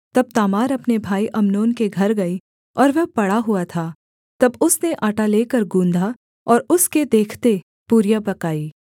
तब तामार अपने भाई अम्नोन के घर गई और वह पड़ा हुआ था तब उसने आटा लेकर गूँधा और उसके देखते पूरियां पकाईं